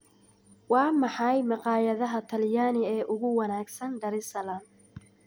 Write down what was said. Waa maxay maqaayadaha Talyaani ee ugu wanaagsan Dar es Salaam?